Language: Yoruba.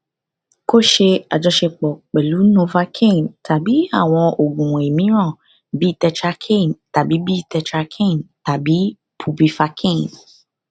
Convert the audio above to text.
ko ṣe ajọṣepọ pẹlu novocaine tabi awọn oogun miiran bi tetracaine tabi bi tetracaine tabi bupivacaine